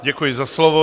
Děkuji za slovo.